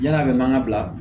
Yann'a bɛ mankan bila